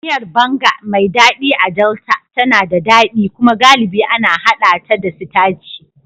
Miyar Banga, mai daɗi a Delta, tana da daɗi kuma galibi ana haɗa ta da sitaci.